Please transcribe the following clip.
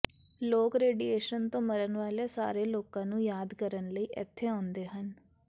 ਲੋਕ ਰੇਡੀਏਸ਼ਨ ਤੋਂ ਮਰਨ ਵਾਲੇ ਸਾਰੇ ਲੋਕਾਂ ਨੂੰ ਯਾਦ ਕਰਨ ਲਈ ਇਥੇ ਆਉਂਦੇ ਹਨ